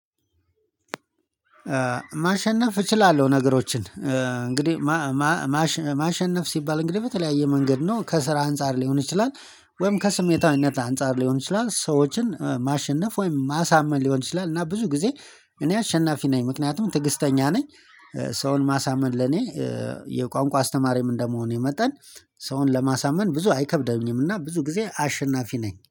ማሸነፍ እችላለሁ ነገሮችን እንግዲህ ማሸነፍ ሲባል እንግዲህ በተለያየ መንገድ ነው ከስራ አንፃር ሊሆን ይችላል። ወይም ከስሜታዊነት አንፃር ሊሆን ይችላል ሰዎችን ማሸነፍ ወይም ማሳመን ሊሆን ይችላል። እና ብዙ ጊዜ እኔ አሸናፊ ነኝ ምክንያቱም ትዕግስተኛ ነኝ። ሰውን ማሳመን ለኔ የቋንቋ አስተማሪም እንደመሆኔ መጠን። ሰውን ለማሳመን ብዙ አይከብደኝምና ብዙ ጊዜ አሸናፊ ነኝ